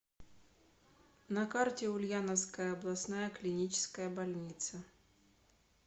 на карте ульяновская областная клиническая больница